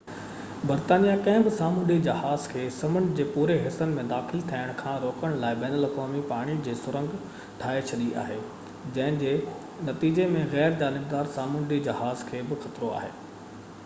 برطانيه ڪنهن به سامونڊي جهاز کي سمنڊ جي پوري حصن ۾ داخل ٿيڻ کان روڪڻ لاءِ بين الاقوامي پاڻي جي سرنگ ٺاهي ڇڏي آهي جنهن جي نتيجي ۾ غير جانبدار سامونڊي جهازن کي به خطرو آهي